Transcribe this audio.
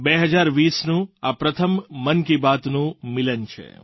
2020નું આ પ્રથમ મન કી બાતનું મિલન છે